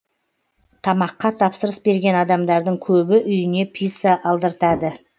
тамаққа тапсырыс берген адамдардың көбі үйіне пицца алдыртады